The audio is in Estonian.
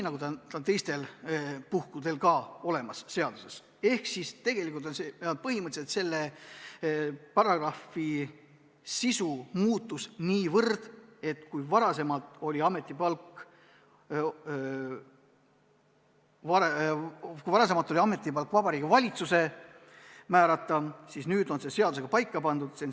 Ehk siis põhimõtteliselt selle paragrahvi sisu muutus nii, et kui varem oli ametipalk Vabariigi Valitsuse määrata, siis nüüd on see seadusega paika pandud.